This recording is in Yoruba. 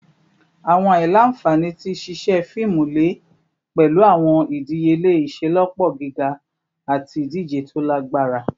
Awọn aila-nfani ti ṣiṣe fiimu le pẹlu awọn idiyele iṣelọpọ giga ati idije to lagbara